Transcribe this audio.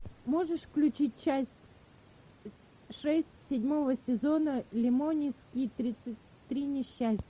можешь включить часть шесть седьмого сезона лемони сникет тридцать три несчастья